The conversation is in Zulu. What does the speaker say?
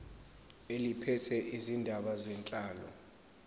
eliphethe izindaba zenhlalo